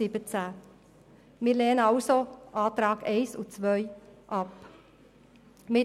Wir lehnen die ersten beiden Massnahmen ab und unterstützen die Planungserklärungen 1 und 2.